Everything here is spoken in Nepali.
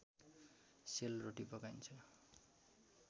सेल रोटी पकाइन्छ